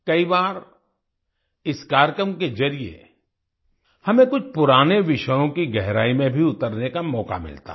कई बार इस कार्यक्रम के जरिए हमें कुछ पुराने विषयों की गहराई में भी उतरने का मौक़ा मिलता है